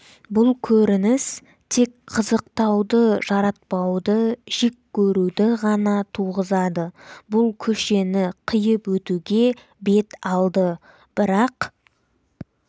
бұл көрініс тек қызықтауды жаратпауды жек көруді ғана туғызады бұл көшені қиып өтуге бет алды бірақ